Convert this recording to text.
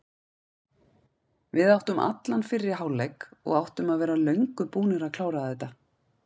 Við áttum allan fyrri hálfleik og áttum að vera löngu búnir að klára þetta.